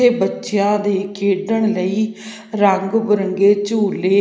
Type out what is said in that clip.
ਇਹ ਬੱਚਿਆਂ ਦੇ ਖੇਡਣ ਲਈ ਰੰਗ ਬਿਰੰਗੇ ਝੂਲੇ--